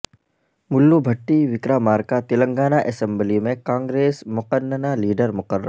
ملو بھٹی وکرامارکا تلنگانہ اسمبلی میں کانگریس مقننہ لیڈرمقرر